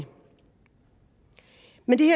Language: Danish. men det